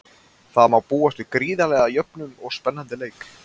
Það má búast við gríðarlega jöfnum og spennandi leik.